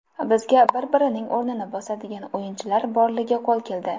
Bizga bir-birining o‘rnini bosadigan o‘yinchilar borligi qo‘l keldi.